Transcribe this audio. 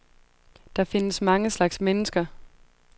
Der findes mange slags mennesker.